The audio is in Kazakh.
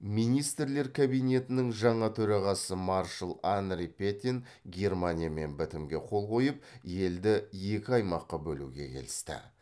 министрлер кабинетінің жаңа төрағасы маршал анри петен германиямен бітімге қол қойып елді екі аймаққа бөлуге келісті